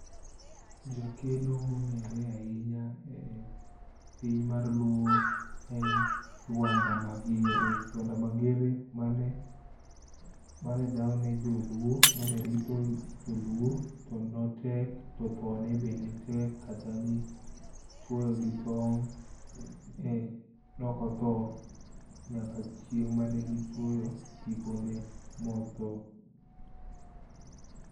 Jakedo mongere ahinya e piny mar luo en Luanda Magere, Luanda Mager mane dhaw ne joluo, mane rito joluo to notek, to thone be netek kata ni chuoye gi tong, ne ok otho nyaka chieng mane gichuoyo tipone ma otho